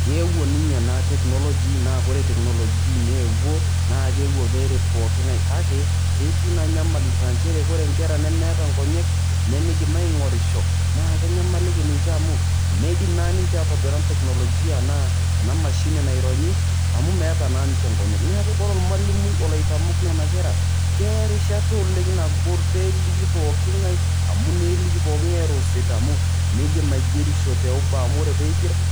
Keewuo ninye ena technology na ore technology neewuo na kewuo peret pookin ngae kake ketii naa nyamalitin aa nchere ore nkera nemeta nkonyek nemeidim adolisho na kenyamaliki ninche amu meidim na ninche aingura teknologia naa enamshini naironyi amu metaa na ninche nkonyek, neaku ore ena mashini naironyi ore ormalimui olo aitomok nona kera keya erishata oleng nagol peliki pooki ngae amu eneliki pooki ngae midilm aigerisho amu